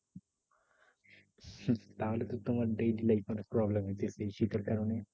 তাহলে তো তোমার daily life problem হইতেছে এই শীতের কারণে।